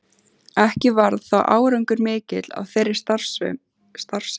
Ekki varð þó árangur mikill af þeirri starfsemi.